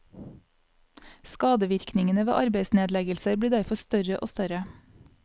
Skadevirkningene ved arbeidsnedleggelser blir derfor større og større.